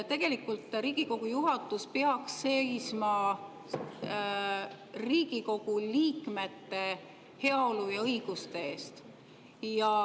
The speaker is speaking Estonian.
Tegelikult Riigikogu juhatus peaks seisma Riigikogu liikmete heaolu ja õiguste eest.